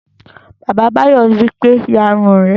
Bàbá Báyọ̀ wípé, "ya irun rẹ!"